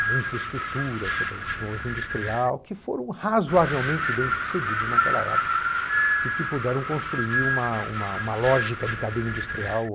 a infraestrutura, sobre desenvolvimento industrial, que foram razoavelmente bem-sucedidos naquela época e que puderam construir uma uma uma lógica de cadeia industrial.